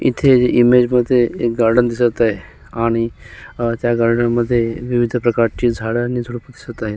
इथे इमेजमध्ये एक गार्डन दिसत आहे आणि अ त्या गार्डनमध्ये विविध प्रकारची झाड आणि झुडप दिसत आहेत.